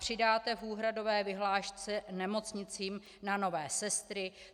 Přidáte v úhradové vyhlášce nemocnicím na nové sestry?